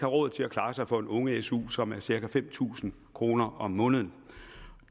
råd til at klare sig for en unge su som er cirka fem tusind kroner om måneden